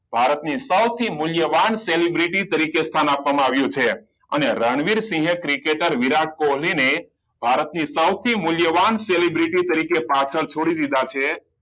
ભારત ની સૌથી મૂલ્યવાન celebrity તરીકે સ્થાન આપવામાં આવ્યું છે અને રણવીરસિંહે ક્રિકેટર વિરાટ કોહલી ને ભારત ની સૌથી મૂલ્યવાન celebrity તરીકે પાછળ છોડી દીધા છે